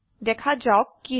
দেখা যাওক কি হয়